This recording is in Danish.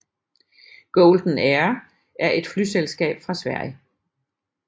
Golden Air er et flyselskab fra Sverige